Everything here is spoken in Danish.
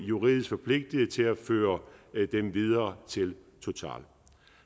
juridisk forpligtiget til at føre dem videre til total